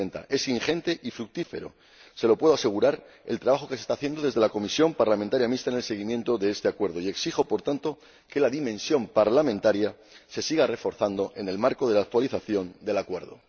Es ingente y fructífero ―se lo puedo asegurar― el trabajo que se está haciendo en la Comisión Parlamentaria Mixta en el seguimiento de este Acuerdo, y exijo, por tanto, que la dimensión parlamentaria se siga reforzando en el marco de la actualización del Acuerdo.